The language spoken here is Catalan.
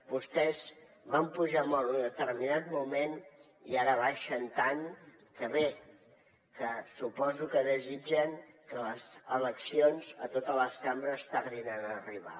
vostès van pujar molt en un determinat moment i ara baixen tant que bé suposo que desitgen que les eleccions a totes les cambres tardin en arribar